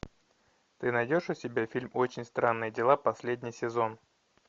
ты найдешь у себя фильм очень странные дела последний сезон